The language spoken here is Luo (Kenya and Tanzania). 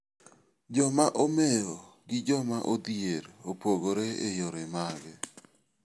Joma omeo gi joma odhier opogore e yore mage?